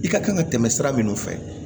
I ka kan ka tɛmɛ sira minnu fɛ